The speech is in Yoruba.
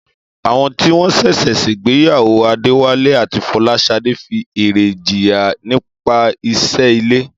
Àwọn tí wọ́n ṣẹ̀ṣẹ̀ ṣègbéyàwó Adéwálé àti Fọláṣadé fi eré jiyàn nípa iṣẹ́ ilé.